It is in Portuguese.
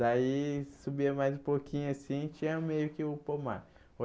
Daí, subia mais um pouquinho assim, tinha meio que o pomar.